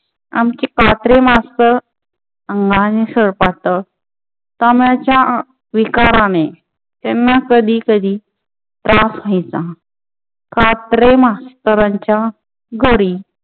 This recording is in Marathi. आमचे कात्रे master अंगाने सळपातळ, दम्याच्या विकाराने त्यांना कधी कधी त्रास व्हायचा. कात्रे master च्या घरी